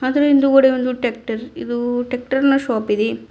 ಅದರ ಹಿಂದುಗಡೆ ಒಂದು ಟ್ಯಾಕ್ಟರ್ ಇದು ಟ್ಯಾಕ್ಟರ್ನ ಶಾಪಿದೆ.